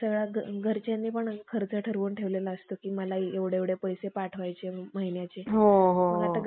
कोकण्या, नाना तात्या टोपे वगैरे अनेक देशस्थ भटजी सापडतात. परंतु त्याचप्रमाणे क्षुद्र संस्थानिक शिंदे होळकर